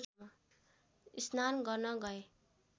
स्नान गर्न गए